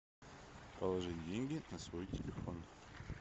положить деньги на свой телефон